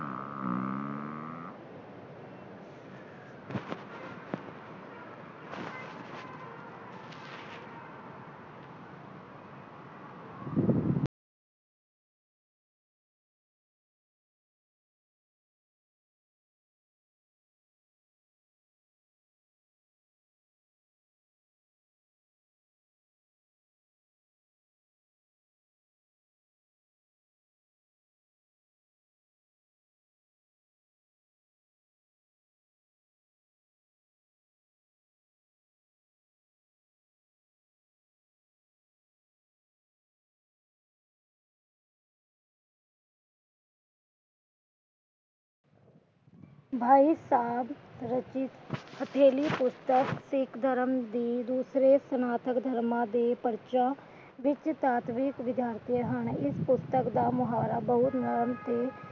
ਪਰ ਸਾਡੀਆਂ ਜੇੜੀਆਂ ਬਹੂਆਂ ਤੇ ਓਹਨਾ ਦੇ ਹੱਥ ਪੀਲੇ ਤੇ ਹੋਯੀ ਹੋਏ ਤੇ ਓਹਨਾ ਨੇ ਜੀ ਓਹੋ ਬੁਲਾ ਲਿਯਾ ਕਹੰਦਾ ਦੇਖ ਹੱਥ ਪੀਲੇ